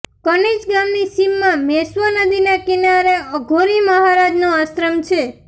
કનીજ ગામની સીમમાં મેશ્વો નદીના કિનારે અઘોરી મહારાજનો આશ્રમ છે